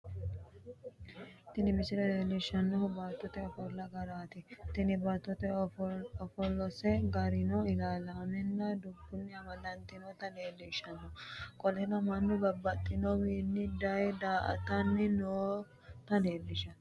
Tini misile leelishanohu baattote ofolla garaati tene baattote ofolase garino ilaalaamenna dobunni amadantinota leelishano qoleno Manu babbaxitinowiinni daye daa'atanni noota leelishano.